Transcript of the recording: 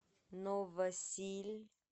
новосиль